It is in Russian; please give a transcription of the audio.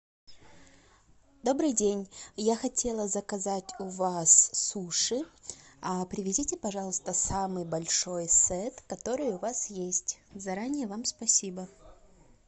добрый день я хотела заказать у вас суши привезите пожалуйста самый большой сет который у вас есть заранее вам спасибо